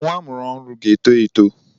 Nwa amụrụ ọhụrụ ga-eto eto.